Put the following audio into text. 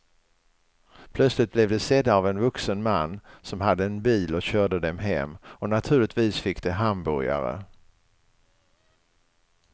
Plötsligt blev de sedda av en vuxen man som hade en bil och körde dem hem och naturligtvis fick de hamburgare.